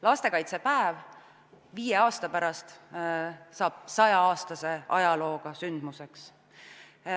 Lastekaitsepäev saab viie aasta pärast 100-aastase ajalooga sündmuseks.